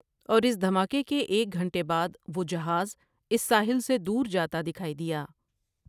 اور اس دھماکے کے ایک گھنٹے بعد وہ جہاز اس ساحل سے دور جاتا دکھائی دیا ۔